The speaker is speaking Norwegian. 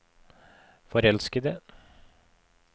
forelskede